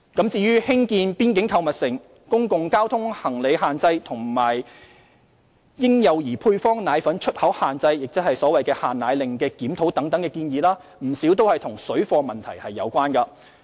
至於興建邊境購物城、公共交通行李限制和嬰幼兒配方奶粉出口限制，即所謂"限奶令"檢討等的建議，不少與水貨問題有關。